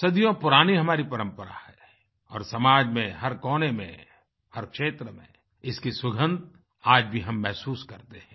सदियों पुरानी हमारी परंपरा है और समाज में हर कोने में हर क्षेत्र में इसकी सुगंध आज भी हम महसूस करते हैं